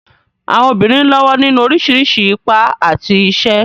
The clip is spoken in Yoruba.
Àwọn obìnrin ń lọ́wọ́ nínú oríṣiríṣi ipa àti iṣẹ́.